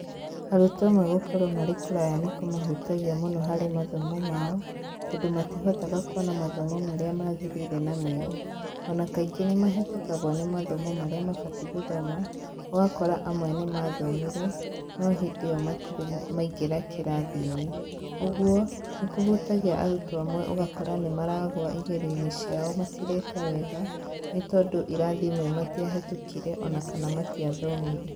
Arutwo amwe gũkorwo marĩ kũraya nĩ kũmahutagia mũno harĩ mathomo mao, tondũ matihotaga kuona mathomo marĩa magĩrĩire na mega. Ona kaingĩ nĩ mahetũkagwo nĩ mathomo marĩa mabatiĩ gũthoma, ũgakora amwe nĩ mathomire no hĩndĩ o matire maingĩra kĩrathi-inĩ. Ũguo, nĩ kũhutagia arutwo amwe ũgakora nĩ maragũa igerio-inĩ ciao matireka wega, nĩ tondũ irathi imwe matiahetũkire ona kana matiathomire.